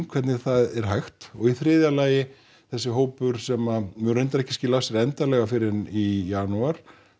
hvernig það er hægt og í þriðja lagi þessi hópur sem mun reyndar ekki skila af sér endanlega fyrr en í janúar